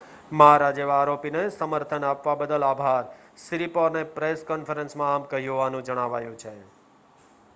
"""મારા જેવા આરોપીને સમર્થન આપવા બદલ આભાર," સિરિપોર્ને પ્રેસ કૉન્ફરન્સમાં આમ કહ્યું હોવાનું જણાવાયું છે.